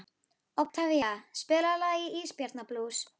Oktavía, spilaðu lagið „Ísbjarnarblús“.